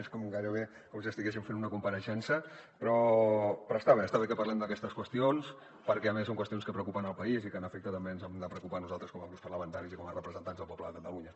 és gairebé com si estiguéssim fent una compareixença però està bé que parlem d’aquestes qüestions perquè a més són qüestions que preocupen el país i que en efecte també ens n’hem de preocupar nosaltres com a grups parlamentaris i com a representants del poble de catalunya